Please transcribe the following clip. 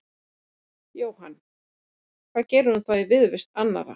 Jóhann: Það gerði hún þá í viðurvist annarra?